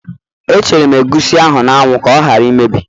E chere m egusi ahụ n'anwu ka ọ ghara imebi